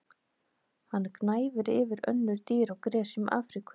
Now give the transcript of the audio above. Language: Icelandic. Hann gnæfir yfir önnur dýr á gresjum Afríku.